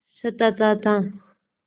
सताता था